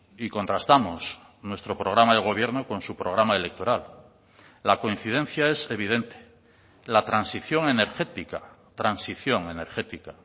y contrastamos nuestro programa de gobierno con su programa electoral la coincidencia es evidente la transición energética transición energética